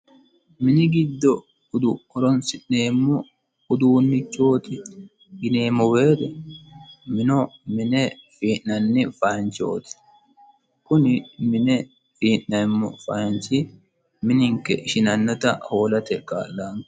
mini giddo udu horonsi'neemmo uduunnichooti gineemmo weere mino mine fii'nanni fayinchooti kuni mine fii'naemmo fayinchi mininke ishinannota hoolate kaa'llano